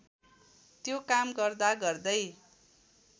त्यो काम गर्दा गर्दै